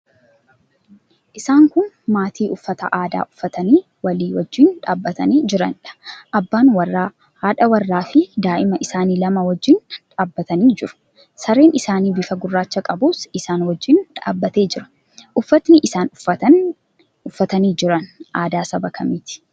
Isaan kun maatii uffata aadaa uffatanii walii wajjin dhaabbatanii jiraniidha. Abbaa warraa, haadha warraafi daa'ima isaanii lamaa wajjin dhaabbatanii jiru. Sareen isaanii bifa gurraacha qabus isaan wajjin dhaabbatee jira. Uffatni isaan uffatanii jiran aadaa saba kamiiti?